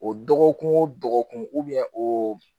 O dɔgɔkun o dɔgɔkun o